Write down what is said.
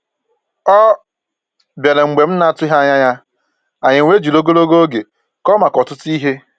Ọ bịara mgbe m na-atụghị anya ya, anyị wee jiri ogologo oge kọọ maka ọtụtụ ihe